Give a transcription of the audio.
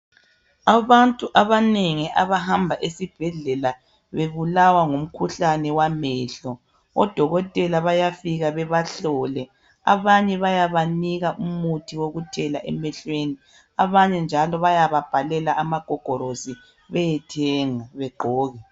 Abantu abanengi abahamba esibhedlela bebulawa ngumkhuhlale wamehlo, odokotela bayafika bebahlole. Abanye bayabanika umuthi wokuthela emehlweni, abanye njalo bayababhalela amagogorosi bayethenga bagqoke.